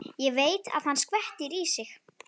Ég veit að hann skvettir í sig.